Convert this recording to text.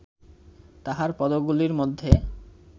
তাঁহার পদগুলির মধ্যে